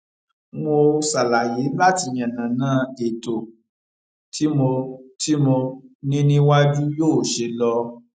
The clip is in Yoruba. mo ṣàlàyé láti yànnàná ètò tí mo tí mo ní níwájú yóò ṣe lọ